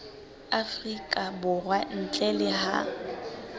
afrika borwa ntle le ha